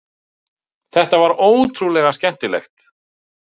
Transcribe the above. Þetta var ótrúlega skemmtilegt